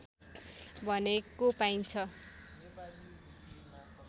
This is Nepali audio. भनेको पाइन्छ